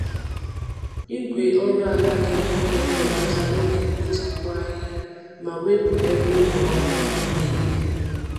Igwe oru ala dị nkọ na-ebelata oge mkpochapụ ahịhịa ma wepụ ebe ụmụ ahụhụ na-ebi.